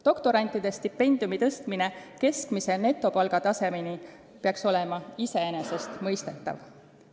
Doktorantide stipendiumi tõstmine keskmise netopalga tasemeni peaks olema iseenesestmõistetav.